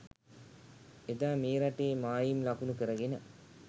එදා මේ රටේ මායිම් ලකුණු කරගෙන